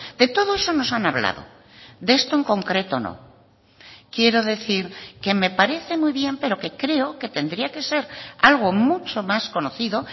de todo eso nos han hablado de esto en concreto no quiero decir que me parece muy bien pero que creo que tendría que ser algo mucho más conocido